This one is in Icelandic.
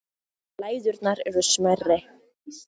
Læðurnar eru smærri.